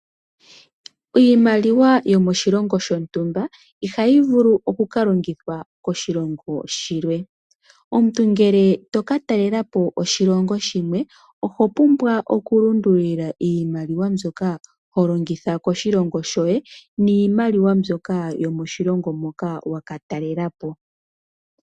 Iimaliwa yokoshilongo shontumba ihayi vulu oka ka longithwa koshilongo shilwe. Omuntu ngele to ka talelepo koshilongo shimwe oho pumbwa okulundululila iimaliwa mbyoka ho longitha koshilongo shoye niimaliwa mbyoka yomoshilongo moka waka talela po.